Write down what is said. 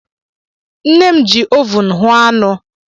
Nne m ji ovun hụọ anụ.